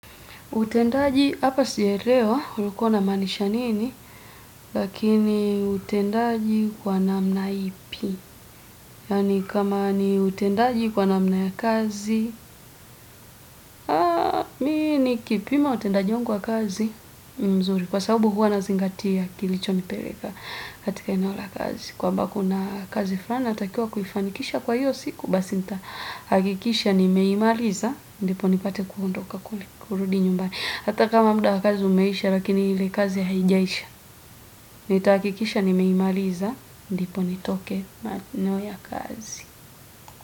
Utendaji hapa sijaelewa ulikuwa unamaanisha nini, lakini utendaji kwa namna ipi, yaani kama ni utendaji kwa namna ya kazi, mimi nikipima utendaji wangu kazi ni mzuri, kwa sababu huwa nazingatia kilichonipeleka katika eneo la kazi. Kwamba kuna kazi fulani natakiwa kufanikisha kwa hiyo siku. Basi nitahakikisha nimeimaliza ndipo nipate kuhundoka kurudi nyumbani. Hata kama muda wa kazi umeisha lakini ile kazi haijaisha. Nitahakikisha nimeimaliza. Ndipo nitoke maeneo ya kazi.